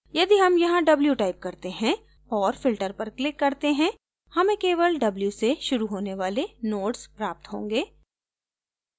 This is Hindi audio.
यदि हम यहाँ w type करते हैं और filter पर click करते हैं हमें केवल w से शुरू होने वाले nodes प्राप्त होंगे